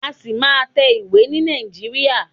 A ṣì máa má tẹ ìwé ni Nàìjíríà.